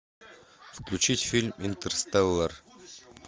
включить фильм интерстеллар